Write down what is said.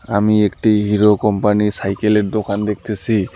আমি একটি হিরো কোম্পানি সাইকেলের দোকান দেখতেসি।